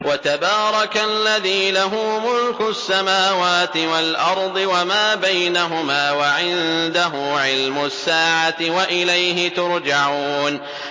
وَتَبَارَكَ الَّذِي لَهُ مُلْكُ السَّمَاوَاتِ وَالْأَرْضِ وَمَا بَيْنَهُمَا وَعِندَهُ عِلْمُ السَّاعَةِ وَإِلَيْهِ تُرْجَعُونَ